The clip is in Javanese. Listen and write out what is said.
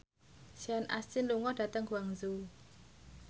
Sean Astin lunga dhateng Guangzhou